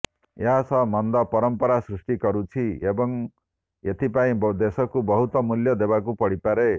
ଏହା ଏକ ମନ୍ଦ ପରମ୍ପରା ସୃଷ୍ଟି କରୁଛି ଏବଂ ଏଥିପାଇଁ ଦେଶକୁ ବହୁତ ମୂଲ୍ୟ ଦେବାକୁ ପଡ଼ିପାରେ